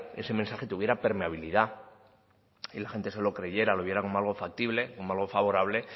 ese mensaje tuviera permeabilidad y la gente se lo creyera lo viera como algo factible como algo favorable